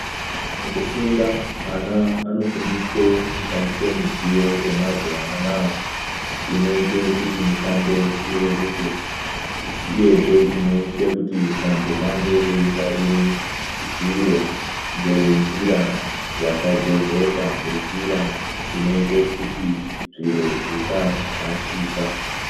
Mukufunda ana anofundiswe kushandisa midziyo yemazuva anaya inoite kuti mishando ireruke uyezve inoite kuti vantu vange veingwarire zviro ngenjira yakajezeka ngenjira inoite kuti zviro zvisarashika.